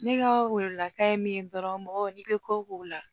Ne ka welewelekan ye min ye dɔrɔn mɔgɔw n'i bɛ ko k'o la